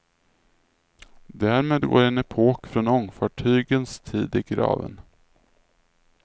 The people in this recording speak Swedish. Därmed går en epok från ångfartygens tid i graven.